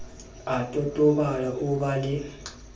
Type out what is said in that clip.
a totobala o ba le